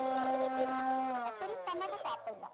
त्यांना तो सापडला